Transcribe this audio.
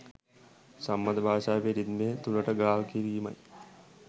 සම්මත භාෂාවේ රිද්මය තුළට ගාල් කිරීමයි